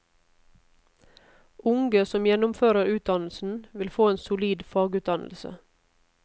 Unge som gjennomfører utdannelsen, vil få en solid fagutdannelse.